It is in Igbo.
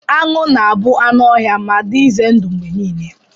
Anụ ga-abụ anụ ọhịa ma dị ize ndụ mgbe niile.